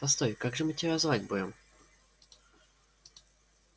постой как же мы тебя звать будем